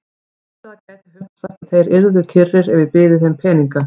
Heldurðu að það gæti hugsast að þeir yrðu kyrrir ef ég byði þeim peninga?